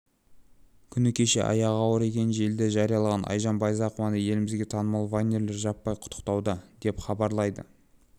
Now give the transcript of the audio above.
күні кеше аяғы ауыр екенін желіде жариялаған айжан байзақованы елімізге танымал вайнерлер жаппай құттықтауда деп хабарлайды